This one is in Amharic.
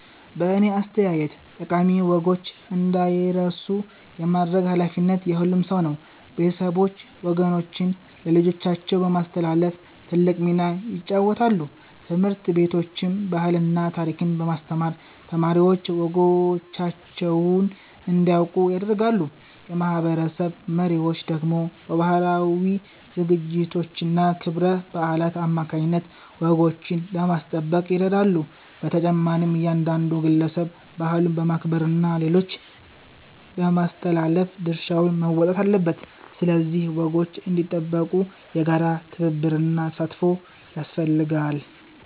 በእኔ አስተያየት ጠቃሚ ወጎች እንዳይረሱ የማድረግ ኃላፊነት የሁሉም ሰው ነው። ቤተሰቦች ወጎችን ለልጆቻቸው በማስተላለፍ ትልቅ ሚና ይጫወታሉ። ትምህርት ቤቶችም ባህልና ታሪክን በማስተማር ተማሪዎች ወጎቻቸውን እንዲያውቁ ያደርጋሉ። የማህበረሰብ መሪዎች ደግሞ በባህላዊ ዝግጅቶችና ክብረ በዓላት አማካይነት ወጎችን ለማስጠበቅ ይረዳሉ። በተጨማሪም እያንዳንዱ ግለሰብ ባህሉን በማክበርና ለሌሎች በማስተላለፍ ድርሻውን መወጣት አለበት። ስለዚህ ወጎች እንዲጠበቁ የጋራ ትብብርና ተሳትፎ ያስፈልጋል።